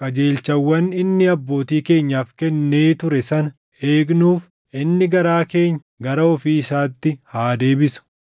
qajeelchawwan inni abbootii keenyaaf kennee ture sana eegnuuf inni garaa keenya gara ofii isaatti haa deebisu.